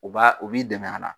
O b'a o b'i dɛmɛ a la